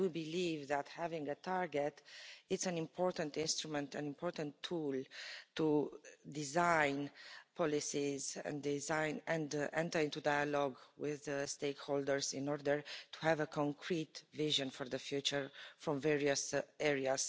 But I do believe that having a target is an important instrument, an important tool, to design policies and enter into dialogue with the stakeholders in order to have a concrete vision for the future from various areas.